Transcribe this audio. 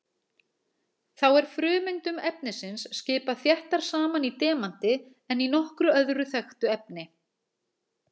Þá er frumeindum efnisins skipað þéttar saman í demanti en í nokkru öðru þekktu efni.